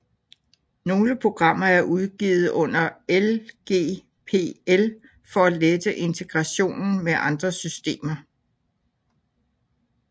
Nogle programmer er udgivet under LGPL for at lette integrationen med andre systemer